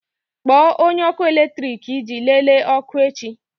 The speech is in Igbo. Kpọọ onye ọkụ eletrik iji lelee ọkụ echi!